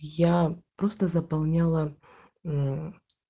я просто заполняла мм